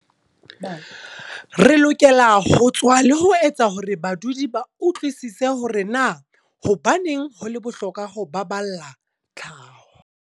Re lokela ho tswa le ho etsa hore badudi ba utlwisise hore na hobaneng ho le bohlokwa ho ba balla tlhaho.